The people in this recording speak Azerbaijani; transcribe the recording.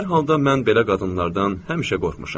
Hər halda mən belə qadınlardan həmişə qorxmuşam.